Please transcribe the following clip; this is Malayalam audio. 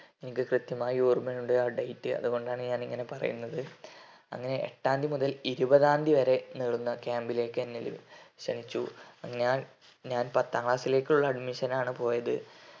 എനിക്ക് കൃത്യമായി ഓർമയുണ്ട് ആ date അതുകൊണ്ടാണ് ഞാൻ ഇങ്ങനെ പറയുന്നത് അങ്ങനെ എട്ടാം തിയതി മുതൽ ഇരുപതാം തിയതി വരെ നീളുന്ന camb ലേക്ക് എന്നെ ക്ഷണിച്ചു ഞാൻ ഞാൻ പത്താം class ലേക്കുള്ള admission നാണു പോയത്